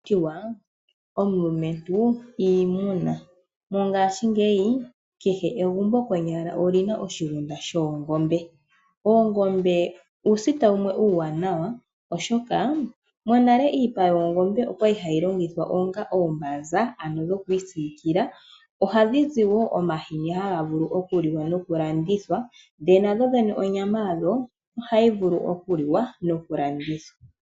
Ohakutiwa omulumentu iimuna , mongaashi ngeyi kehe egumbo konyala olina oshigunda shoongombe , oongombe uusita wumwe uuwanawa oshoka monale iipa yoongombe okwali hayi longithwa onga oombaza ano dhokwiisiikila, ohadhi zi woo omahini haga vulu okuliwa nokulandithwa ndee nadhodhene onyama yadho ohayivulu okuliwa noku landithwa